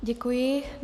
Děkuji.